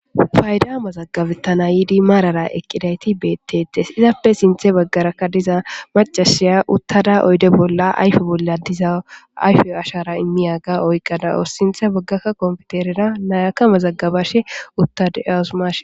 Fayda mazagabetana yiidi marara eqidayti beetetesi, izappe sinthe bagaraka diza macashiya utada oyde bolla diza ayfe ashara imiyaga oyka de'awus, sinthe bagara computerera nayaka mazagabashe uta de'awus, mashi....